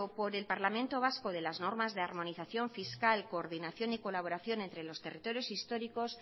por el parlamento vasco de las normas de armonización fiscal coordinación y colaboración entre los territorios históricos